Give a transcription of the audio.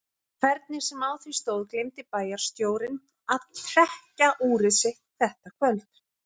Hvernig sem á því stóð gleymdi bæjarstjórinn að trekkja úrið sitt þetta kvöld.